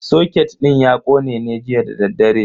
Soket din ya kone ne jiya dadaddare.